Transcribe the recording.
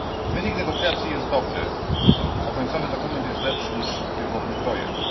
Wynik negocjacji jest dobry, a końcowy dokument jest lepszy niż pierwotny projekt.